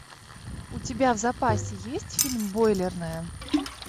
у тебя в запасе есть фильм бойлерная